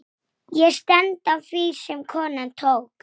Að hann hafi stolið henni?